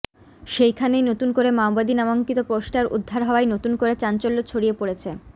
সেখানেই নতুন করে মাওবাদী নামাঙ্কিত পোস্টার উদ্ধার হওয়ায় নতুন করে চাঞ্চল্য ছড়িয়ে পড়েছে